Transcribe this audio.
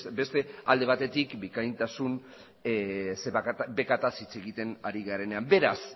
beste alde batetik bikaintasun bekataz hitz egiten ari garenean beraz